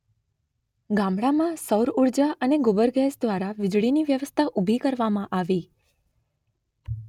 ગામડામાં સૌર ઊર્જા અને ગોબર ગેસ દ્વારા વીજળીની વ્યવસ્થા ઊભી કરવામાં આવી.